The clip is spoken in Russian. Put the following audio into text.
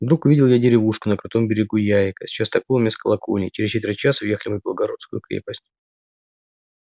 вдруг увидел я деревушку на крутом берегу яика с частоколом и с колокольней и через четверть часа въехали мы в белогорскую крепость